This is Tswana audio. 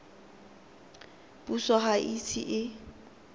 puso ga e ise e